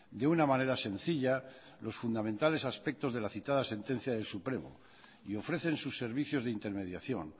de una manera sencilla los fundamentales aspectos de la citada sentencia del supremo y ofrecen sus servicios de intermediación